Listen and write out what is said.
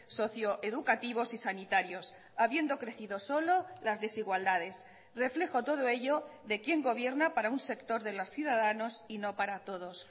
socioeducativos y sanitarios habiendo crecido solo las desigualdades reflejo todo ello de quién gobierna para un sector de los ciudadanos y no para todos